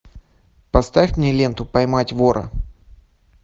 поставь мне ленту поймать вора